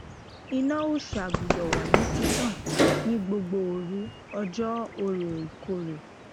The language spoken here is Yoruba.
iná òòsà gbudo wa ni titan ni gbogbo oru ojo orò ìkórè